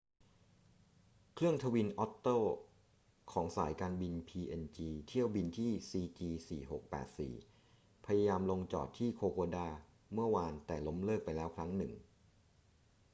เครื่องทวินอ็อตเตอร์ของสายการบินพีเอ็นจีเที่ยวบินที่ cg4684 พยายามลงจอดที่โคโคดาเมื่อวาน แต่ล้มเลิกไปแล้วครั้งหนึ่ง